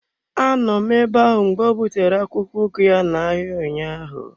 A nọ m ebe ahụ mgbe o butere akwụkwọ ugu ya n'ahịa ụnyaahụ.